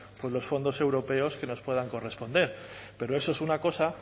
pues los fondos europeos que nos puedan corresponder pero eso es una cosa